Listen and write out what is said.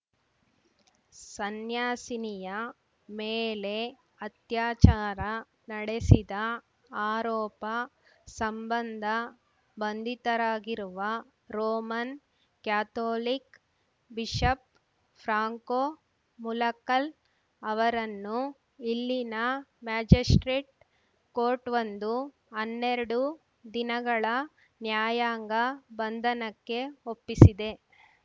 ಸನ್ಯಾಸಿನಿಯ ಮೇಲೆ ಅತ್ಯಾಚಾರ ನಡೆಸಿದ ಆರೋಪ ಸಂಬಂಧ ಬಂಧಿತರಾಗಿರುವ Roman Catholic bishop Franco Mulakkal ಅವರನ್ನು ಇಲ್ಲಿನ ಮ್ಯಾಜಿಸ್ಪ್ರೇಟ್‌ ಕೋರ್ಟ್‌ವೊಂದು ಅನ್ನೆರಡು ದಿನಗಳ ನ್ಯಾಯಾಂಗ ಬಂಧನಕ್ಕೆ ಒಪ್ಪಿಸಿದೆ